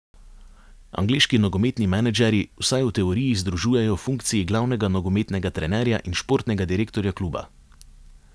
Angleški nogometni menedžerji vsaj v teoriji združujejo funkciji glavnega nogometnega trenerja in športnega direktorja kluba.